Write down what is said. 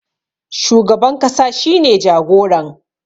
shugaban kasa shi ne jagoran